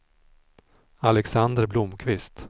Alexander Blomkvist